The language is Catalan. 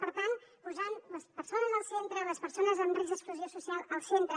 per tant posant les persones al centre les persones amb risc d’exclusió social al centre